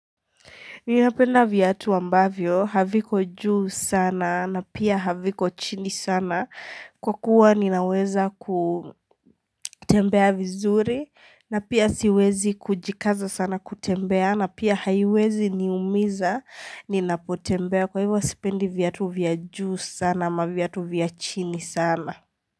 Ninapenda vyatu ambavyo, haviko juu sana na pia haviko chini sana kwa kuwa ninaweza kutembea vizuri na pia siwezi kujikaza sana kutembea na pia haiwezi niumiza ninapotembea kwa hivyo sipendi vyatu vya juu sana ama vyatu vyachini sana.